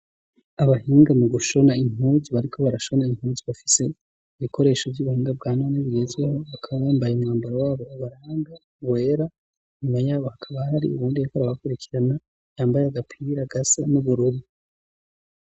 Abahinga mu gushona inkuzu bariko barashona inkuzu bafise ibikoresho vy'ubuhinga bwa none bugezweho bakabambaye umwambaro wabo baranga wera inyuma yabo hakaba hari ubundi yeko rabakurikirana yambaye agapira agasa n'uburubu.